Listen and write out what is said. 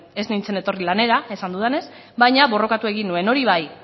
ez nintzen etorri lanera esan dudanez baina borrokatu egin nuen hori bai